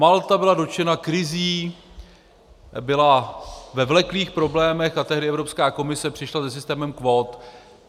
Malta byla dotčena krizí, byla ve vleklých problémech a tehdy Evropská komise přišla se systémem kvót.